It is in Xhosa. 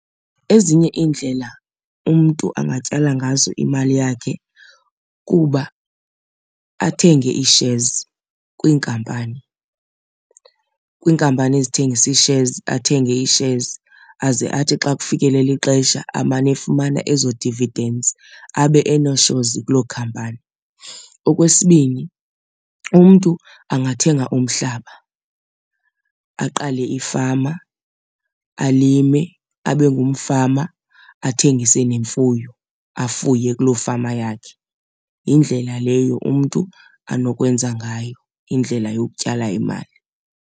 Ezinye iindlela umntu angatyala ngazo imali yakhe kuba athenge i-shares kwiinkampani. Kwiinkampani ezithengisa i-shares athenge i-shares aze athi xa kufikelele ixesha amane efumana ezo dividends abe ene-shares kuloo khampani. Okwesibini umntu angathenga umhlaba aqale ifama, alime, abe ngumfama. Athengise nemfuyo, afuye kuloo fama yakhe. Yindlela leyo umntu anokwenza ngayo indlela yokutyala imali.